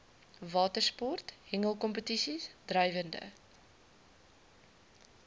watersport hengelkompetisies drywende